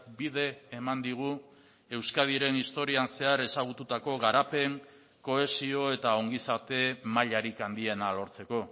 bide eman digu euskadiren historian zehar ezagututako garapen kohesio eta ongizate mailarik handiena lortzeko